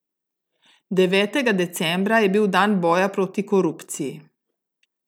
Devetega decembra je bil dan boja proti korupciji.